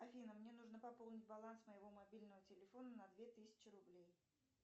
афина мне нужно пополнить баланс моего мобильного телефона на две тысячи рублей